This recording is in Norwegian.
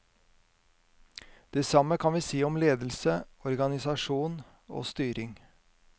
Det samme kan vi si om ledelse, organisasjon og styring.